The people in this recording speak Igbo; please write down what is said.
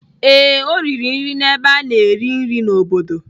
Ee, o riri nri n'ebe a na-eri nri n'obodo.